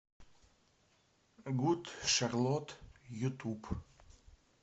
гуд шарлотт ютуб